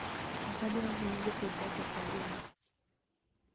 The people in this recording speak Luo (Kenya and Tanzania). ukwadwa ahinya jopidh bata kawwuono